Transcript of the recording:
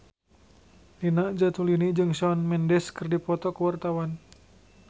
Nina Zatulini jeung Shawn Mendes keur dipoto ku wartawan